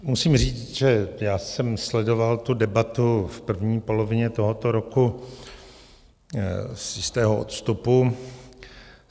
Musím říct, že já jsem sledoval tu debatu v první polovině tohoto roku z jistého odstupu.